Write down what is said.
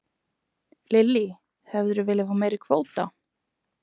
Lillý: Hefðirðu viljað fá meiri kvóta?